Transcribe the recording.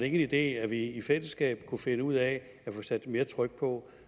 en idé at vi i fællesskab kunne finde ud af at få sat mere tryk på